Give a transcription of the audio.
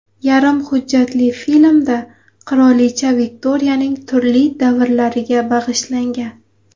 Yarim hujjatli filmda qirolicha Viktoriyaning turli davrlariga bag‘ishlangan.